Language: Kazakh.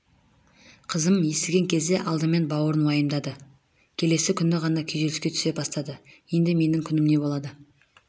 қызым естіген кезде алдымен бауырын уайымдады келесі күні ғана күйзеліске түсе бастады енді менің күнім неболады